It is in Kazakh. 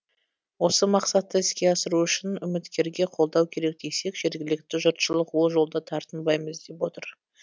осы мақсатты іске асыру үшін үміткерге қолдау керек десек жергілікті жұртшылық ол жолда тартынбаймыз деп отыр